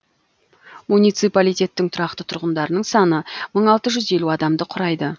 муниципалитеттің тұрақты тұрғындарының саны мың алты жүз елу адамды құрайды